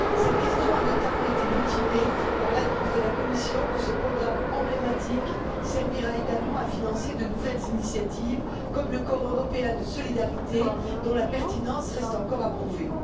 Cette question a notamment été motivée par l'annonce de la Commission que ce programme emblématique servira également à financer de nouvelles initiatives, comme le corps européen de solidarité dont la pertinence reste encore à prouver.